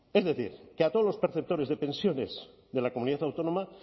es decir que a todos los perceptores de pensiones de la comunidad autónoma